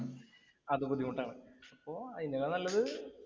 അതു ബുദ്ധിമുട്ടാണ്. അപ്പൊ അതിനേക്കാൾ നല്ലത്